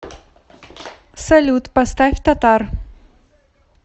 салют поставь татар